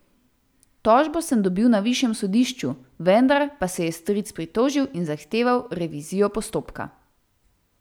Tožbo sem dobil na višjem sodišču, vendar pa se je stric pritožil in zahteval revizijo postopka.